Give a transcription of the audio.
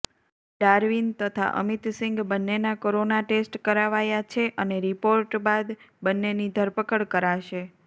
Darwin તથા અમીતસીંગ બંનેના corona test કરાવાયા છે અને રિપોર્ટ બાદ બંનેની ધરપકડ કરાશે